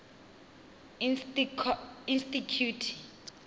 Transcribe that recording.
insticuti